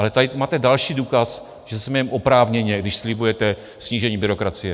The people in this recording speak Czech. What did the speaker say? Ale tady máte další důkaz, že se smějeme oprávněně, když slibujete snížení byrokracie.